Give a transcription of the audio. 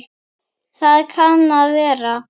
Það kann að vera.